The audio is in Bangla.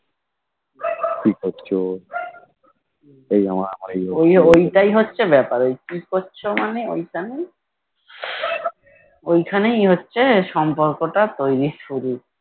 ওই ওইটাই হচ্ছে ব্যাপার ওই কি করছো মানে ওইখানেই ওইখানেই হচ্ছে সম্পর্কটা তৈরীর শুরু